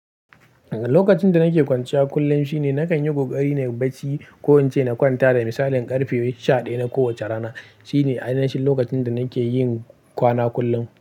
Lokacin da nake kwanciya kullum shine nakan yi ƙoƙari na yi barci. Ko ince na kwanta da misalin ƙarfe sha ɗaya na kowace rana. Shine ainahin lokacin da nake yin ƙwana kullum.